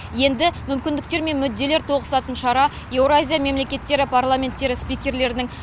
енді мүмкіндіктер мен мүдделер тоғысатын шара еуразия мемлекеттері парламенттері спикерлерінің